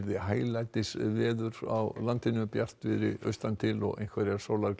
hæglætisveður á landinu bjartviðri austan til og einhverjar